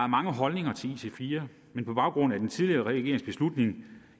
mange holdninger til ic4 men på baggrund af den tidligere regerings beslutning